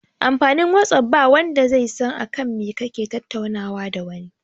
Amfanin whatsapp ba wanda zai san akan me kake tattaunawa da wani